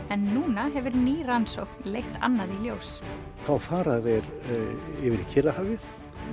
en núna hefur ný rannsókn leitt annað í ljós þá fara þeir yfir í Kyrrahafið